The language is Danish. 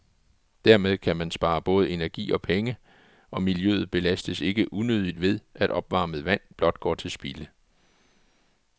Dermed kan man spare både energi og penge, og miljøet belastes ikke unødigt ved, at opvarmet vand blot går til spilde.